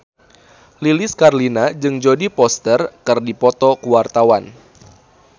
Lilis Karlina jeung Jodie Foster keur dipoto ku wartawan